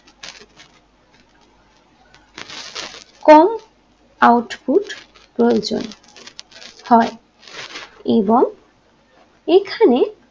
কম output প্রয়োজন হয় এবং এখানে